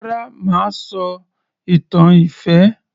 Rárá mà á sọ ìtàn ìfẹ́